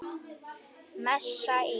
Messa íl.